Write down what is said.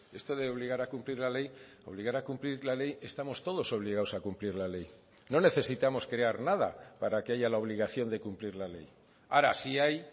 esto de obligar a cumplir la ley obligar a cumplir la ley estamos todos obligados a cumplir la ley no necesitamos crear nada para que haya la obligación de cumplir la ley ahora sí hay